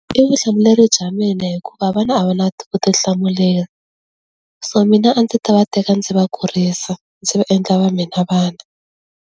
I vutihlamuleri bya mina hikuva vana a va na vutihlamuleri so mina a ndzi ta va teka ndzi va kurisa ndzi va endla va mina vana.